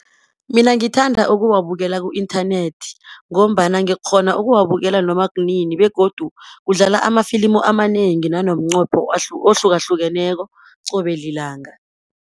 Mina ngithanda ukuwabukela ku-inthanethi, ngombana ngikghona ukuwabukela noma kunini, begodu kudlala amafilimu amanengi nanomnqopho ohlukahlukeneko qobe lilanga.